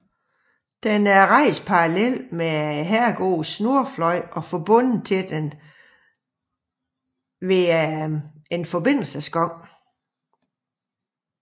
Den er rejst parallelt med herregårdens nordfløj og forbundet til denne ad en forbindelsesgang